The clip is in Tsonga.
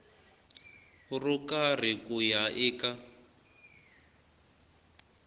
ro karhi ku ya eka